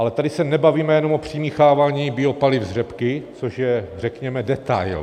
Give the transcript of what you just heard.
Ale tady se nebavíme jenom o přimíchávání biopaliv z řepky, což je řekněme detail.